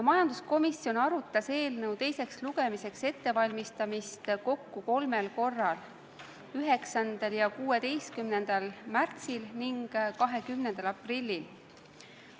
Majanduskomisjon arutas eelnõu teiseks lugemiseks ettevalmistamist kokku kolmel korral: 9. ja 16. märtsil ning 20. aprillil.